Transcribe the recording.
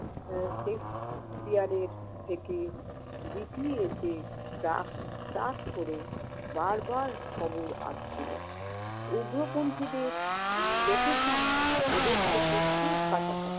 এর থেকে GPS এ টাক টাক করে বার বার খবর আসছিল। উগ্রপন্থীদের location ওদের থেকে খুব কাছাকাছি।